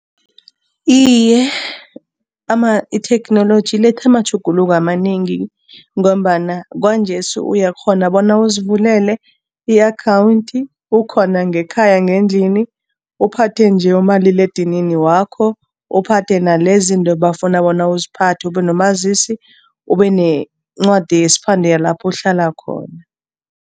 Iye, itheknoloji iletha amatjhuguluko amanengi ngombana kwanjesi uyakghona bona uzivulele i-akhawundi ukhona ngekhaya ngendlini, uphathe nje umaliledinini wakho, uphathe nalezinto ebafuna bona uziphathe, ube nomazisi, ube nencwadi yesiphande yalapho uhlala khona.